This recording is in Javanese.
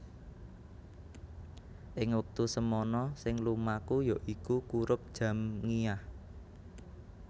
Ing wektu semana sing lumaku yaiku kurup Jamngiah